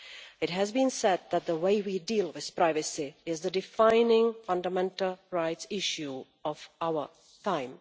It has been said that the way we deal with privacy is the defining fundamental rights issue of our time.